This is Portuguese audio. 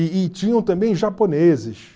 E e tinham também japoneses.